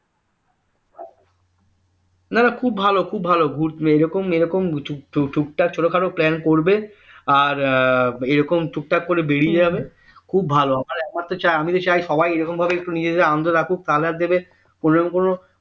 না না খুব ভালো খুব ভালো এরকম এরকম টুকটাক ছোটখাট plane করবে আর এরকম টুকটাক করে বেরিয়ে যাবে খুব ভালো আমি তো চাই সবাই এরকমভাবে নিজে নিজে আনন্দ রাখুক কোনো রকম কোনো